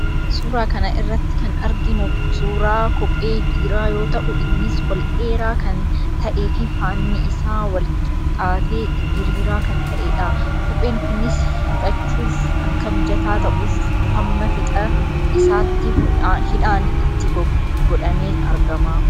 Suuraa kana irratti kan arginu suurraa kophee dhiiraa yoo ta'u, innis ol dheeraa kan ta'ee fi faanni isaa walqixxaatee diriiraa kan ta'edha. Kopheen kunis hidhachuuf akka mijataa ta'uuf, hamma fiixa isaatti hidhaan itti godhamee argama.